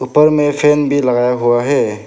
ऊपर में फैन भी लगाया हुआ है।